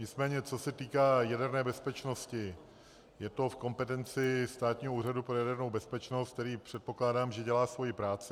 Nicméně co se týká jaderné bezpečnosti, je to v kompetenci Státního úřadu pro jadernou bezpečnost, který, předpokládám, že dělá svoji práci.